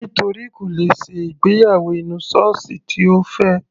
Nítorí kò lè ṣe ìgbéyàwó inú sọ́ọ́sì tí Ó fẹ́.